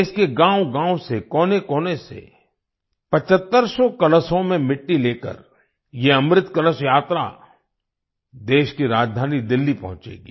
देश के गाँवगाँव से कोनेकोने से 7500 कलशों में मिट्टी लेकर ये अमृत कलश यात्रा देश की राजधानी दिल्ली पहुचेंगी